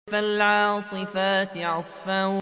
فَالْعَاصِفَاتِ عَصْفًا